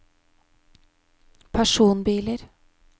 personbiler